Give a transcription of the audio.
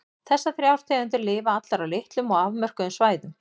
Þessar þrjár tegundir lifa allar á litlum og afmörkuðum svæðum.